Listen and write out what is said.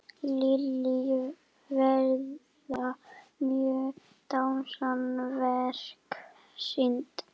Lillý, verða mörg dansverk sýnd?